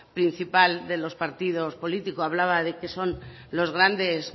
principal de los partidos políticos hablaba de que son los grandes